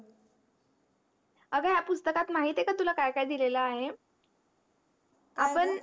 अग या पुस्तकात महितेय का तुला काय काय दिलेल आहे